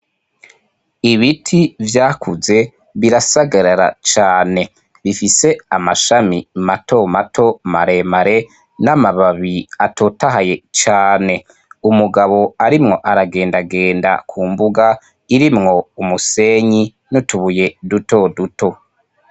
ibiti yvakuze birasagarara cane bifise amashami mato mato maremare n'amababi atotahaye cane umugabo arimwo aragendagenda ku mbuga irimwo umusenyi n'utubuye duto duto.